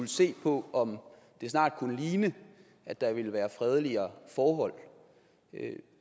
se på om det snart kunne ligne at der ville være fredeligere forhold